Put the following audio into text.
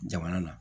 Jamana na